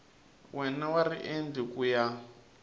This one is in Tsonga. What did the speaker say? wana wa riendli ku ya